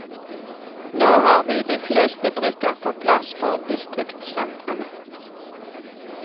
Nå har vi de fleste brikker på plass for distriktsentrene.